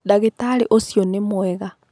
Ndagitarĩ ũcio nĩ mwega.